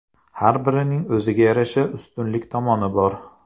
Har birining o‘ziga yarasha ustunlik tomoni bor.